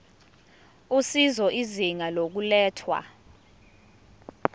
usizo izinga lokulethwa